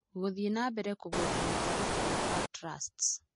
Gũthiĩ na mbere kũgweta mĩtaratara ta TRUST's.